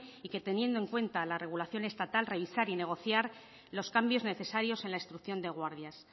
y que teniendo en cuenta la regulación estatal revisar y negociar los cambios necesarios en la instrucción de guardias